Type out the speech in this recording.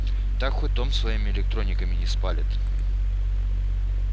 так хоть дом своими электрониками не спалит